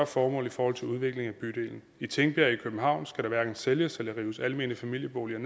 formål i forhold til udviklingen af bydelen i tingbjerg i københavn skal der hverken sælges eller rives almene familieboliger